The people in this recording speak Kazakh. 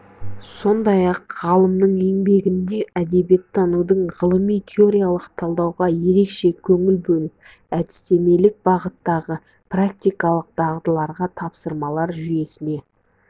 сондай-ақ ғалымның еңбегінде әдебиеттанудың ғылыми теориялық талдауға ерекше көңіл бөліп әдістемелік бағыттағы практикалық дағдыларға тапсырмалар жүйесіне